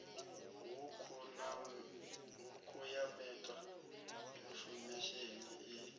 hukhu ya meta infomesheni i